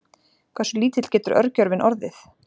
Hversu lítill getur örgjörvinn orðið?